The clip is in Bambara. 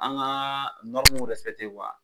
An ka